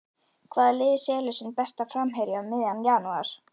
Hvaða lið selur sinn besta framherja um miðjan janúar?